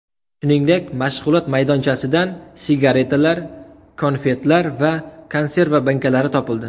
Shuningdek, mashg‘ulot maydonchasidan sigaretlar, konfetlar va konserva bankalari topildi.